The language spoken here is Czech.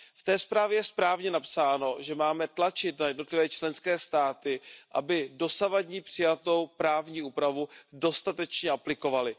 V té zprávě je správně napsáno, že máme tlačit na jednotlivé členské státy, aby dosavadní přijatou právní úpravu dostatečně aplikovaly.